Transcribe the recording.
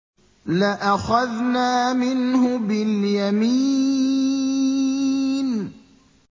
لَأَخَذْنَا مِنْهُ بِالْيَمِينِ